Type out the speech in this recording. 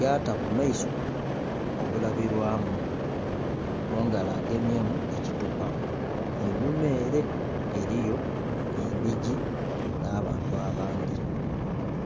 yata ku maiso obulabirwamu, mungalo agemyemu ekithupa. Einhuma ere eriyo endhigi na'bantu abandhi.